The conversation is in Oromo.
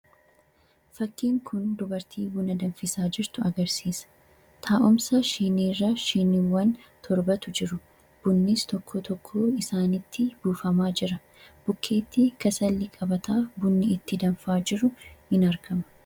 Fakiin Kun dubartii buna danfisaa jirtu agarsiisa. Taa'umsa shiinirra shiinii toorbatu jira. Bunnis tokkoon tokkoon isaatti buufamaa jira. Bukkeetti kasalli qabatee jiru ni mul'ata.